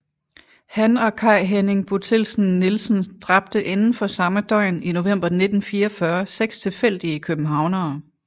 Han og Kai Henning Bothildsen Nielsen dræbte inden for samme døgn i november 1944 seks tilfældige københavnere